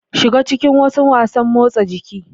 Shiga cikin wasu wasanmotsa jiki.